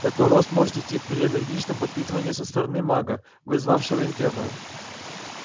такой рост может идти при энергичном подпитывании со стороны мага вызывавшего инферно